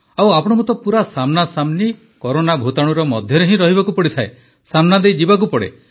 ଆଉ ଆପଣଙ୍କୁ ତ ପୂରା ସାମ୍ନାସାମ୍ନି କରୋନା ଭୂତାଣୁର ମଧ୍ୟରେ ହିଁ ରହିବାକୁ ପଡ଼ିଥାଏ ସାମ୍ନାଦେଇ ଯିବାକୁ ପଡ଼େ